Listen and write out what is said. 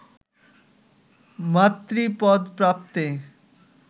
মাতৃপদ প্রাপ্তে